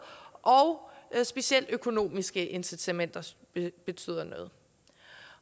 og specielt økonomiske incitamenter betyder noget